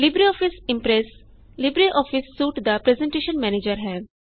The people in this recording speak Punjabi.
ਲਿਬਰੇਆਫਿਸ ਇਮਪ੍ਰੈਸ ਲਿਬਰੇਆਫਿਸ ਸੂਟ ਦਾ ਪਰੈੱਜ਼ਨਟੇਸ਼ਨ ਮੈਨੇਜਰ ਹੈ